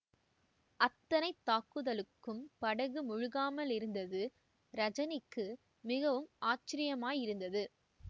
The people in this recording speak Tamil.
அத்தனைத் தாக்குதலுக்கும் படகு முழுகாமலிருந்தது ரஜனிக்கு மிகவும் ஆச்சரியமாயிருந்தது